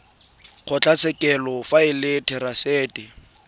kgotlatshekelo fa e le therasete